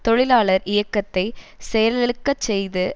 தொழிலாளர் இயக்கத்தை செயலிழக்கச்செய்து